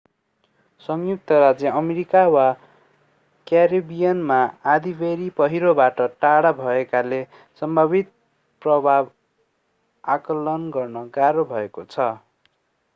संयुक्त राज्य अमेरिका वा क्यारिबियनमा आँधीबेहरी पहिरोबाट टाढा भएकाले सम्भावित प्रभाव आकलन गर्न गाह्रो भएको छ